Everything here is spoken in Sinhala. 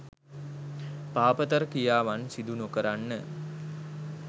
පාපතර ක්‍රියාවන් සිදු නොකරන්න